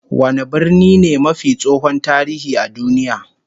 Wane birni ne mafi tsohon tarihi a duniya?